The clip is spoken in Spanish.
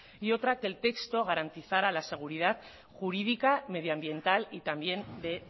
y otra que el texto garantizara la seguridad jurídica medioambiental y también de